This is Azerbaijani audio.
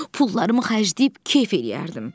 Pullarımı xərcləyib kef eləyərdim.